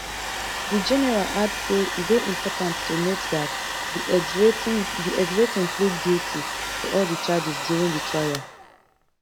di general add say e dey important to note dat di exrating plead guilty to all di charges during di trial